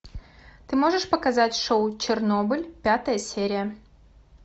ты можешь показать шоу чернобыль пятая серия